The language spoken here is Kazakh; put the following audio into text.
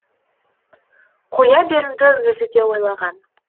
қоя беруді өзі де ойлаған